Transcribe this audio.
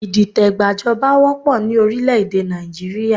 Ìdìtẹ̀gbà joba wópọ̀ ni orílẹ̀ èdè Nàìjíríà